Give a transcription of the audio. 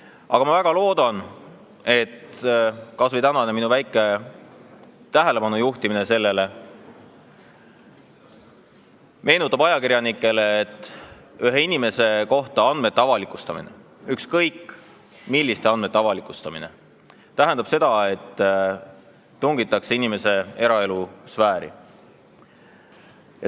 Aga ma väga loodan, et kas või minu tänane väike tähelepanu juhtimine sellele meenutab ajakirjanikele, et inimese andmete avalikustamine – ükskõik, milliste andmete avalikustamine – tähendab seda, et tungitakse inimese eraelu sfääri.